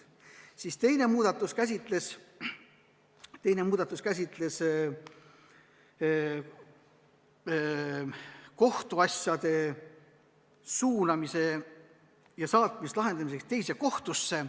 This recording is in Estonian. Teine muudatus käsitleb kohtuasjade suunamist lahendamiseks teise kohtusse.